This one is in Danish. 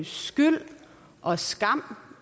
skyld og skam